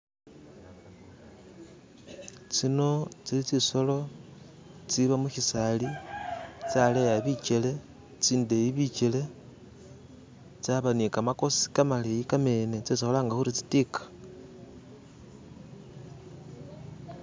Zino zili zinsolo iziba mushisaali zaleya bigele, zindeyi bigele zaba ni gamagosi gamaleyi gamene zesi kulanga kuti zitiga